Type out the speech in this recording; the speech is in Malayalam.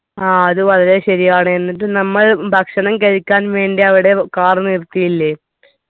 ആ അത് വളരെ ശരിയാണ് എന്നിട്ട് നമ്മൾ ഭക്ഷണം കഴിക്കാൻ വേണ്ടി അവിടെ car നിറുത്തിയില്ലേ